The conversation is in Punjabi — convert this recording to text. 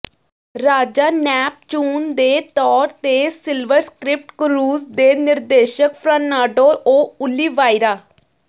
ਰਾਜਾ ਨੈਪਚੂਨ ਦੇ ਤੌਰ ਤੇ ਸਿਲਵਰ ਸਕ੍ਰਿਪਟ ਕਰੂਜ਼ ਦੇ ਨਿਰਦੇਸ਼ਕ ਫਰਾਂਨਾਡੋ ਓ ਓਲੀਵਾਈਰਾ